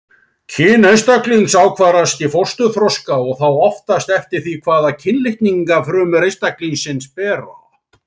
Kyn einstaklings ákvarðast í fósturþroska og þá oftast eftir því hvaða kynlitninga frumur einstaklingsins bera.